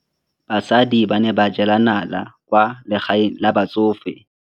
Basadi ba ne ba jela nala kwaa legaeng la batsofe.